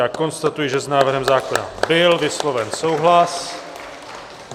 Já konstatuji, že s návrhem zákona byl vysloven souhlas.